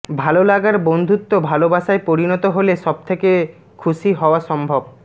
ভাললাগার বন্ধুত্ব ভালবাসায় পরিণত হলে সব থেকে খুশি হওয়া সম্ভব